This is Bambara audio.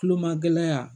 Kulomagɛ